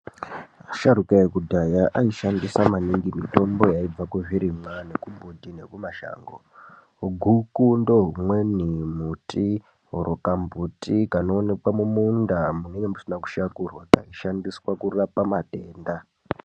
Asharuka ekudhaya aishandisa maningi mitombo yaibva kuzvirimwa nekumbuti nekumashango, guku ndohumweni mbuti oro kambuti kanoonekwa mumunda munenge musina kushakurwa kaishandiswa kurapa matenda.